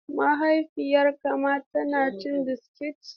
Mahaifiyarka ma tana cin biskit?